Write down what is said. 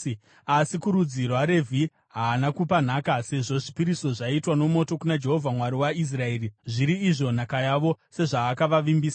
Asi kurudzi rwaRevhi haana kupa nhaka, sezvo zvipiriso zvaiitwa nomoto kuna Jehovha Mwari waIsraeri, zviri izvo nhaka yavo, sezvaakavavimbisa.